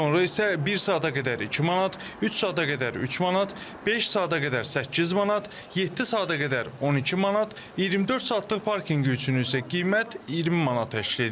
Sonra isə bir saata qədər 2 manat, 3 saata qədər 3 manat, 5 saata qədər 8 manat, 7 saata qədər 12 manat, 24 saatlıq parkinqi üçün isə qiymət 20 manat təşkil edir.